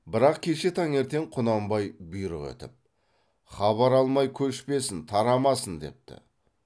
бірақ кеше таңертең құнанбай бұйрық етіп хабар алмай көшпесін тарамасын депті